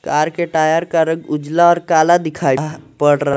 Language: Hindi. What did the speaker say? कार के टायर का रंग उजला और काला दिखाई पड़--